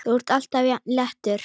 Þú ert alltaf jafn léttur!